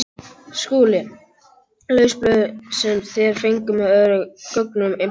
SKÚLI: Laus blöð sem þér fenguð með öðrum gögnum embættisins.